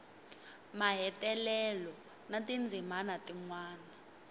mahetelelo na tindzimana tin wana